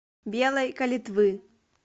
белой калитвы